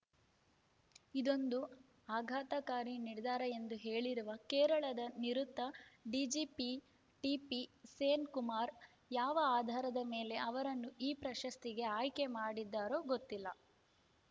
ಇದೊಂದು ಆಘಾತಕಾರಿ ನಿರ್ಧಾರ ಎಂದು ಹೇಳಿರುವ ಕೇರಳದ ನಿವೃತ್ತ ಡಿಜಿಪಿ ಟಿಪಿಸೇನ್‌ಕುಮಾರ್‌ ಯಾವ ಆಧಾರದ ಮೇಲೆ ಅವರನ್ನು ಈ ಪ್ರಶಸ್ತಿಗೆ ಆಯ್ಕೆ ಮಾಡಿದ್ದಾರೋ ಗೊತ್ತಿಲ್ಲ